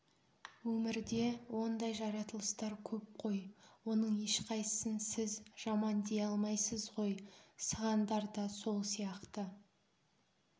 өмірде ондай жаратылыстар көп қой оның ешқайсысын сіз жаман дей алмайсыз ғой сығандар да сол сияқты